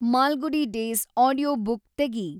Malgudi days audiobook ತೆಗಿ